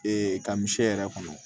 ka misi yɛrɛ kɔnɔ